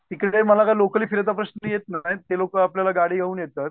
तिकडे मला काय लोकली फिरायचा प्रश्न येत नाही ते लोक आपल्याला गाडी घेऊन येतात